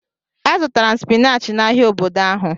A zụtara m spinach n'ahia obodo ahụ.